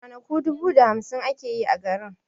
Ranaku dubu da hamsin ake yi a garin